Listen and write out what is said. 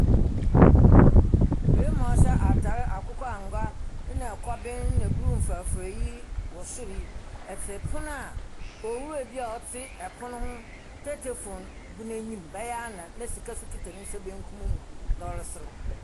Barimba a ɔhyɛ akokɔangoa na kɔɔben na blue mforaforae yi wɔ sor yi tse pon a owura bi a ɔte pon no ho tetefoon gu n’enyim, bɛyɛ anan na sika so kitsa ne nsa bankum mu, na ɔreserew.